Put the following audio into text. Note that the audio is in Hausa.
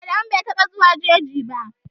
Adamu bai taɓa zuwan jeji ba.